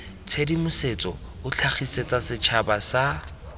tshedimosetso o tlhagisetsa setšhaba sa